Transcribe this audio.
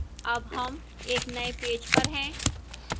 अब हम एक नए पेज पर हैं